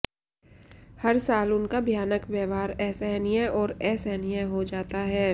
हर साल उनका भयानक व्यवहार असहनीय और असहनीय हो जाता है